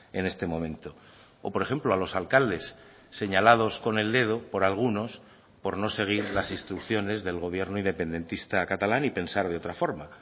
en este momento o por ejemplo a los alcaldes señalados con el dedo por algunos por no seguir las instrucciones del gobierno independentista catalán y pensar de otra forma